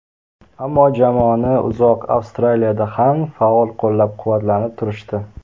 Ammo jamoani uzoq Avstraliyada ham faol qo‘llab-quvvatlanib turishdi.